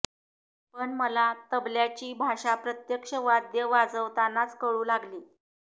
पण मला तबल्याची भाषा प्रत्यक्ष वाद्य वाजवतानाच कळू लागली